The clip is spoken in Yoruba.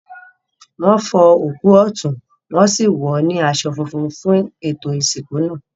Wọn fọ òkú ọ̀tún, wọn sì wọ́n sì wọ̀ ọ́ ní aṣọ funfun fún ètò ìsìnkú náà.